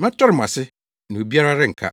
Mɛtɔre mo ase, na obiara renka.